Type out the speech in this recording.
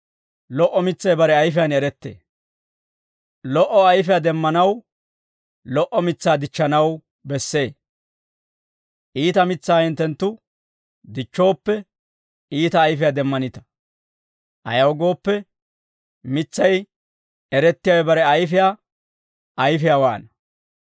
«Lo"o ayfiyaa demmanaw lo"o mitsaa dichchanaw bessee; iita mitsaa hinttenttu dichchooppe, iita ayfiyaa demmanita; ayaw gooppe, mitsay erettiyaawe bare ayfiyaa ayfiyaawaana.